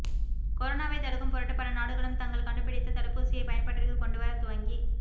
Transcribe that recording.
கொரோனாவை தடுக்கும் பொருட்டு பல நாடுகளும் தாங்கள் கண்டுப்பிடித்த தடுப்பூசியை பயன்பாட்டிற்கு கொண்டு வர துவங்கி